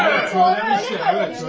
Evet, söyləmişdi, evet.